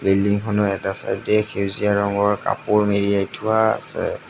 বিল্ডিঙখনৰ এটা চাইডে সেউজীয়া ৰঙৰ কাপোৰ মেৰিয়াই থোৱা আছে।